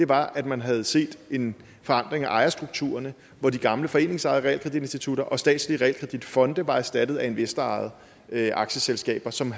var at man havde set en forandring af ejerstrukturerne hvor de gamle foreningsejede realkreditinstitutter og statslige realkreditfonde var erstattet af investorejede aktieselskaber som